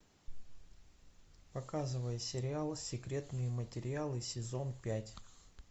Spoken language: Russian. показывай сериал секретные материалы сезон пять